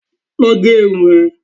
Lọ gé irun ẹ!